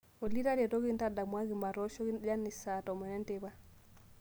ollytaretoki taa ntadamuaki matoshoki janice saa tomon enteipa